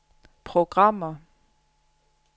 programmer